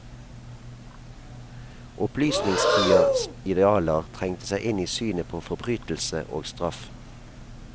Opplysningstidas idealer trengte seg inn i synet på forbrytelse og straff.